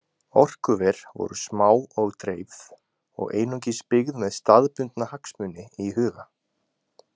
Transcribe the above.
Orkuver voru smá og dreifð og einungis byggð með staðbundna hagsmuni í huga.